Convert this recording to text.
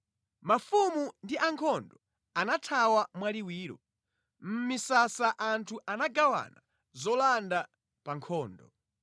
“Mafumu ndi ankhondo anathawa mwaliwiro; mʼmisasa anthu anagawana zolanda pa nkhondo.